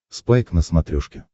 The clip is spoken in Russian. спайк на смотрешке